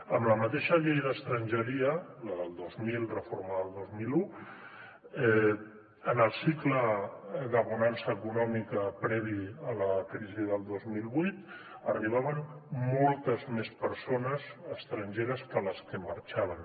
amb la mateixa llei d’estrangeria la del dos mil reformada el dos mil un en el cicle de bonança econòmica previ a la crisi del dos mil vuit arribaven moltes més persones estrangeres que les que marxaven